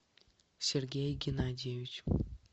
сергей геннадьевич